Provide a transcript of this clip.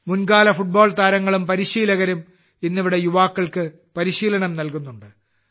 മുൻകാല ഫുട്ബോൾ താരങ്ങളും പരിശീലകരും ഇന്ന് ഇവിടെ യുവാക്കൾക്ക് പരിശീലനം നൽകുന്നുണ്ട്